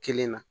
Kelen na